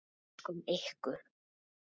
Elskum ykkur.